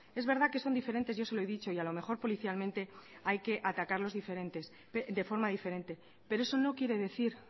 es verdad que son diferentes y eso lo he dicho y a lo mejor policialmente hay que atacarlos de forma diferente pero eso no quiere decir